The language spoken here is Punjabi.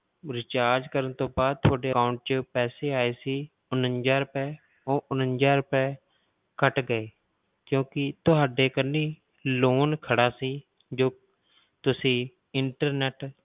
Recharge ਕਰਨ ਤੋਂ ਬਾਅਦ ਤੁਹਾਡਾ account ਵਿੱਚ ਪੈਸੇ ਆਏ ਸੀ ਉਣੰਜਾ ਰੁਪਏ, ਉਹ ਉਣੰਜਾ ਰੁਪਏ ਕੱਟ ਗਏ ਕਿਉਂਕਿ ਤੁਹਾਡੇ ਕੰਨੀ loan ਖੜਾ ਸੀ ਜੋ ਤੁਸੀਂ internet